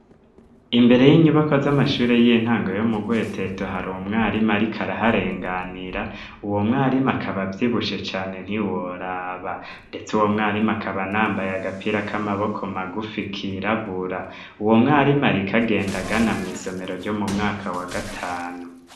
Imbere y'inyubako z'amashuri y'intange yo mu gweteto hari umwarima arikaaraharenganira uwo mwarimu akaba vyibushe cane ntiworaba, ndetse uwo mwarimu akaba nambaye agapira k'amaboko magufi kirabura uwo mwarima rikagendagana mw'isomero ryo mu mwaka wa gatanu.